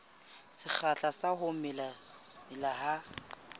sekgahla sa ho mela ha